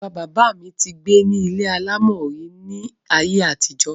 bàbá bàbá mi ti gbé ní ilé alámọ̀ rí ní ayé àtijọ́.